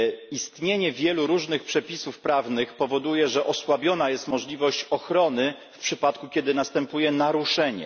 Istnienie wielu różnych przepisów prawnych powoduje, że osłabiona jest możliwość ochrony, w przypadku gdy następuje naruszenie.